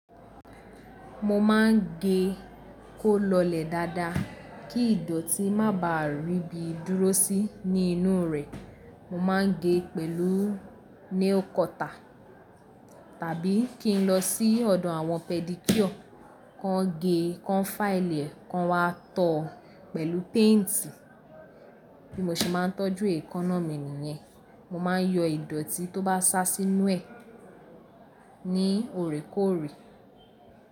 Mo máa ń gé kó lọlẹ̀ dáadáa kí ìdọ̀tí má bà á rí bi dúró sí ní inú rẹ̀. Mo máa ń gé pẹ̀lú nail cutter tàbí kí n lọ sí ọ̀dọ̀ àwọn pedicure, kán gé, kán fáìlì, kán wá tọ̀ ọ́ pẹ̀lú paint bí mo ṣe má tójú èékánná mi nìyẹn. Mo máa ń yọ ìdọ̀tí tó bá sá sí inú ẹ̀ ní ọ̀rẹ̀kóòrẹ̀.